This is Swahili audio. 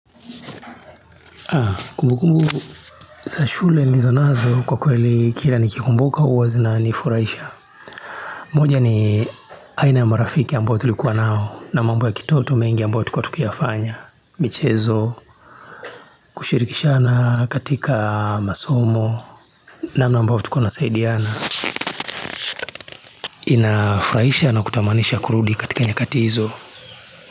Ah kumbu kumbu za shule nlizonazo kwa kweli kila nikikumbuka huwa zinanifurahisha moja ni aina ya marafiki ambao tulikuwa nao na mambo ya kitoto mengi ambayo tulikua tukiyafanya michezo kushirikishana katika masomo namna ambavyo tukua nasaidiana Inafurahisha na kutamanisha kurudi katika nyakati hizo.